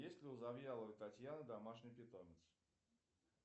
есть ли у завьяловой татьяны домашний питомец